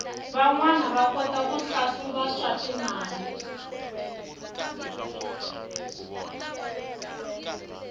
vanwana va kota ku hlahluva swatimali